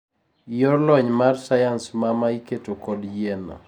yor lony mar sayans ma ma iketo kodo yien